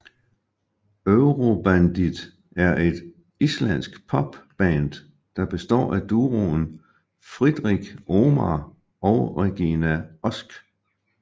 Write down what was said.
Eurobandið er et islandsk pop band der består af duoen Friðrik Ómar og Regína Ósk